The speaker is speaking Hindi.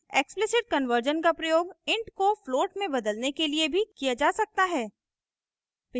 explicit कन्वर्जन का प्रयोग int को float में बदलने के लिए भी किया जा सकता है